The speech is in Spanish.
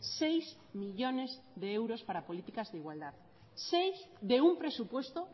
seis millónes de euros para políticas de igualdad seis de un presupuesto